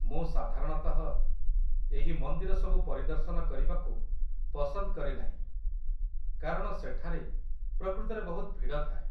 ମୁଁ ସାଧାରଣତଃ ଏହି ମନ୍ଦିର ସବୁ ପରିଦର୍ଶନ କରିବାକୁ ପସନ୍ଦ କରେ ନାହିଁ କାରଣ ସେଠାରେ ପ୍ରକୃତରେ ବହୁତ ଭିଡ଼ ଥାଏ।